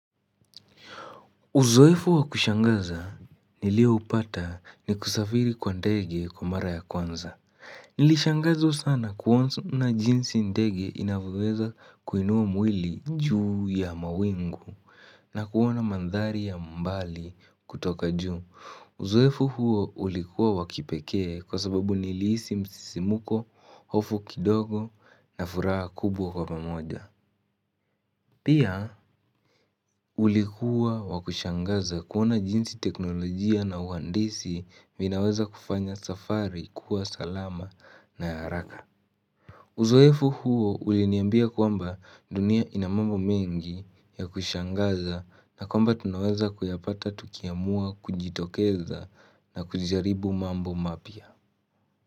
Uzoefu wakushangaza niliyoupata ni kusafiri kwa ndege kwa mara ya kwanza. Nilishangazwa sana kuona jinsi ndege inavyoweza kuinua mwili juu ya mawingu na kuona mandhari ya mbali kutoka juu. Uzoefu huo ulikuwa wakipekee kwa sababu nilihisi msisimuko, hofu kidogo na furaha kubwa kwa pamoja. Pia ulikuwa wakushangaza kuona jinsi teknolojia na uhandisi vinaweza kufanya safari kuwa salama na haraka. Uzoefu huo uliniambia kwamba dunia inamambo mengi ya kushangaza na kwamba tunaweza kuyapata tukiamua kujitokeza na kujaribu mambo mapya.